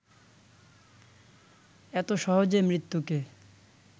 এত সহজে মৃত্যুকে